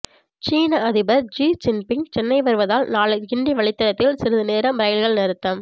சீன அதிபர் Xi Jinping Chennai வருவதால் நாளை கிண்டி வழித்தடத்தில் சிறிது நேரம் ரயில்கள் நிறுத்தம்